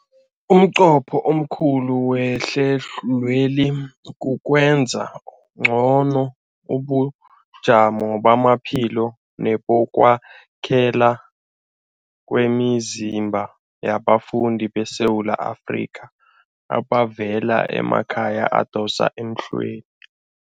Umnqopho omkhulu wehlelweli kukwenza ngcono ubujamo bamaphilo nebokwakhela kwemizimba yabafundi beSewula Afrika abavela emakhaya adosa emhlweni.